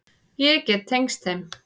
Ég get tengst þeim.